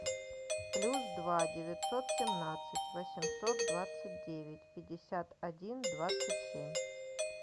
плюс два девятьсот семнадцать восемьсот двадцать девять пятьдесят один двадцать семь